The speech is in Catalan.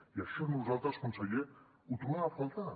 i això nosaltres conseller ho trobem a faltar